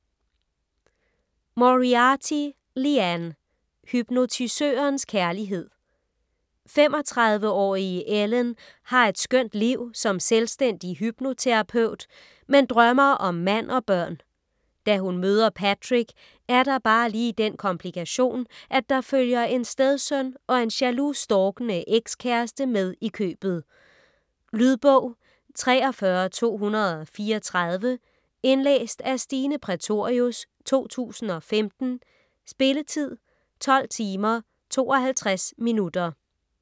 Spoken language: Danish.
Moriarty, Liane: Hypnotisørens kærlighed 35-årige Ellen har et skønt liv som selvstændig hypnoterapeut, men drømmer om mand og børn. Da hun møder Patrick er der bare lige den komplikation, at der følger en stedsøn og en jaloux, stalkende ekskæreste med i købet. Lydbog 43234 Indlæst af Stine Prætorius, 2015. Spilletid: 12 timer, 52 minutter.